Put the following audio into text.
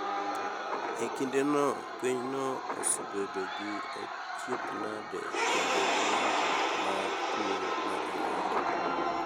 E kindeno pinyno osebedo gi achiedh nade kedo gi landruok mar tuo mar ayaki.